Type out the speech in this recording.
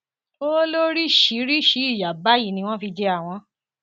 ó lóríṣìíríṣìí ìyà báyìí ni wọn fi jẹ àwọn